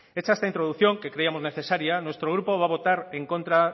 hecha esta introducción que creíamos necesaria nuestro grupo va a votar en contra